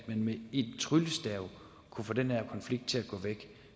med en tryllestav kunne få den her konflikt til at gå væk